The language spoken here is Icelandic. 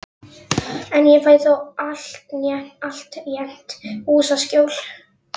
En ég fæ þó altént húsaskjól.